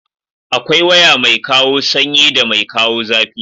Akwai waya mai kawo sanyi da mai kawo zafi.